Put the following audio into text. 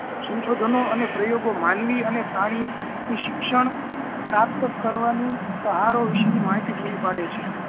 સંશોધનો અને પ્રયોગો માનવી અને પ્રાણી ની શિક્ષણ પ્રાપ્ત કરવાની ત્હારો વિશેની માહિતી પુરી પડે છે